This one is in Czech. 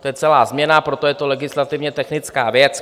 To je celá změna, proto je to legislativně technická věc.